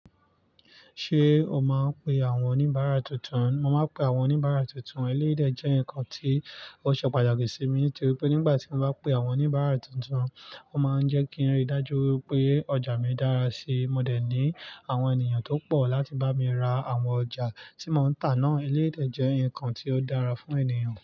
Ṣé o máa ń pe àwọn oníbàárà tuntun? Mo máa ń pe àwọn oníbàárà tuntun. Eléyi dè jẹ́ nǹkan tí ó ṣe pàtàkì sí mi, torípé nígbà tí mo bá pe àwọn oníbàárà tuntun, ó máa ń jẹ́ kí wón rí dájú pé ọjà mi dára síi. Mo dẹ̀ ní àwọn ènìyàn tó nbọ̀ láti bá mi ra àwọn ọjà tí mò ń tà náà. Elédè jẹ́ ǹkan tí ó dára fún ènìyàn.